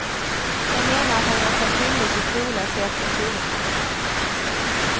De menar att han gjort sig skyldig till trolöshet mot huvudman.